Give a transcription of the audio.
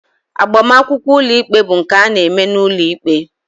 Agbamakwụkwọ ụlọikpe bụ nke a na-eme n'ụlọikpe